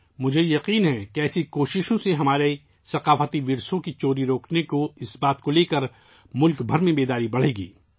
مجھے یقین ہے کہ اس طرح کی کوششوں سے ہمارے ثقافتی ورثے کی چوری روکنے کے لیے ملک بھر میں بیداری بڑھے گی